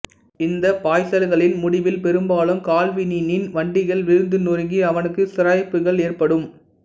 இந்த பாய்ச்சல்களின் முடிவில் பெரும்பாலும் கால்வினின் வண்டிகள் விழுந்து நொறுங்கி அவனுக்கு சிராய்ப்புகள் ஏற்படும்